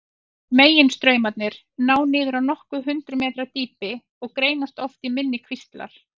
Meginstraumarnir ná niður á nokkur hundruð metra dýpi og greinast oft í minni kvíslar.